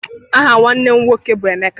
Aha nwanne m nwoke bụ Emeka.